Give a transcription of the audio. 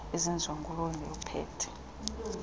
ezenziwa ngulowo ukuphethe